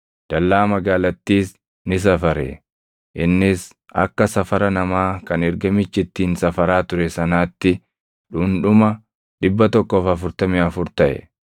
Dallaa magaalattiis ni safare; innis akka safara namaa kan ergamichi ittiin safaraa ture sanaatti dhundhuma 144 taʼe.